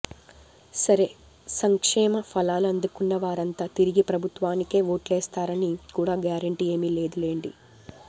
సరే సంక్షేమ ఫలాలు అందుకున్న వారంతా తిరిగి ప్రభుత్వానికే ఓట్లేస్తారని కూడా గ్యారెంటీ ఏమీలేదు లేండి